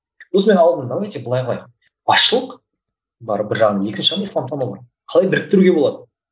сосын мен алдым давайте былай қылайық басшылық бар бір жағынан екінші жағынан исламтану бар қалай біріктіруге болады